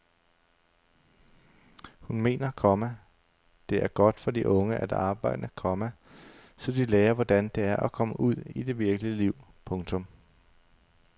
Hun mener, komma det er godt for de unge at arbejde, komma så de lærer hvordan det er at komme ud i det virkelige liv. punktum